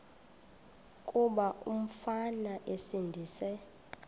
kuba umfana esindise